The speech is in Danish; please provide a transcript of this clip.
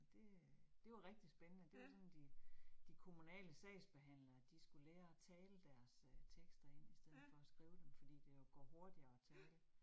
Det øh det var rigtig spændende, det var sådan de de kommunale sagsbehandlere, de skulle lære at tale deres øh tekster ind i stedet for at skrive dem fordi det jo går hurtigere at tale